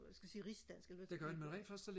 hvad skal vi sige rigsdansk eller hvad skal man sige